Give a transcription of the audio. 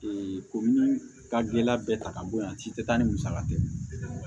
komi ka gele bɛɛ ta ka bɔ yan ci tɛ taa ni musaka tɛ